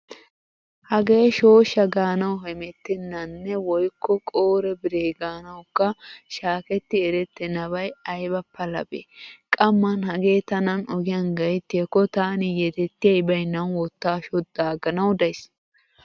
Hagee shooshsha gaanawu hemettennanne woykko qoore bire gaanawukka shaaketti erettenbay ayba palabee. Qamman hagee tanan ogiyan gayttiyaakko taani yedettiyay baynnan wottaa shoddaaganawu daysi.